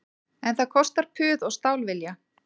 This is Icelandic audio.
En það kostar puð og stálvilja